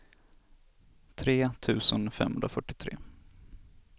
tre tusen femhundrafyrtiotre